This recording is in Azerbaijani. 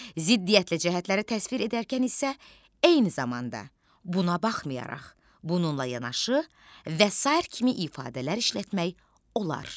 Ziddiyyətli cəhətləri təsvir edərkən isə eyni zamanda, buna baxmayaraq, bununla yanaşı və sair kimi ifadələr işlətmək olar.